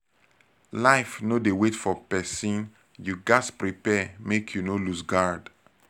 life no dey wait for pesin you ghas prepare make you no loose guard